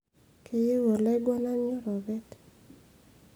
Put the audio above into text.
keyieu olaiguanani oropet